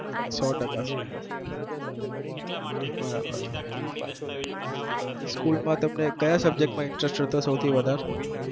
હા બરાબર ક્યાં subject માં રસ હતો સૌ થી વધા